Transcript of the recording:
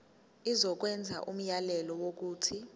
izokwenza umyalelo wokuthi